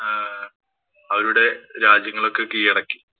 ആഹ് അവരുടെ രാജ്യങ്ങളൊക്കെ കീഴടക്കി.